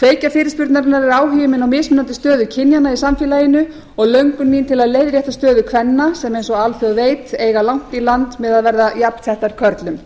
kveikja fyrirspurnarinnar er áhugi minn á mismunandi stöðu kynjanna í samfélaginu og löngun mín til að leiðrétta stöðu kvenna sem eins og alþjóð veit eiga langt í land með að verða jafnsettar körlum